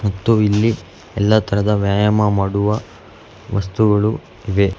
ಮತ್ತು ಇಲ್ಲಿ ಎಲ್ಲ ತರದ ವ್ಯಾಯಾಮ ಮಾಡುವ ವಸ್ತುಗಳು ಇವೆ.